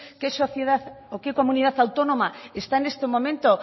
qué sociedad o qué comunidad autónoma está en este momento